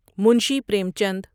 Munshi Premchand